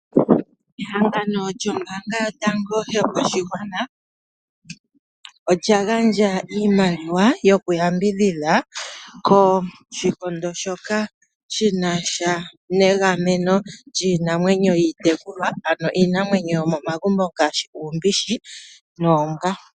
Ombaanga yotango yopashigwana ya Namibia olya gandja oshimaliwa shokuyambidhidha kehangano ndoka hali gamene lyiinamwenyo mbyoka hayi tekulwa momagumbo ngashi uumbishi, oombwa nosho tuu.